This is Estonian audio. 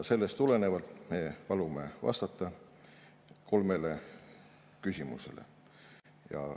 Sellest tulenevalt me palume vastata kolmele küsimusele.